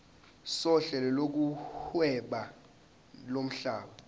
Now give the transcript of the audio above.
sohlelo lokuhweba lomhlaba